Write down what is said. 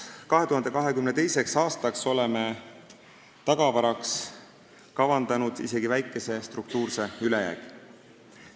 2022. aastaks oleme tagavaraks kavandanud isegi väikese struktuurse ülejäägi.